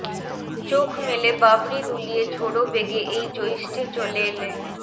চোখ মেলে বাবরি দুলিয়ে ঝোড়ো বেগে এই জ্যৈষ্ঠে চলে এলে